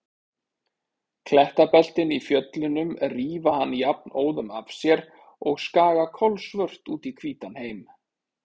Klettabeltin í fjöllunum rífa hann jafnóðum af sér og skaga kolsvört út í hvítan heim.